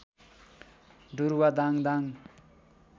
डुरुवा Dang Dang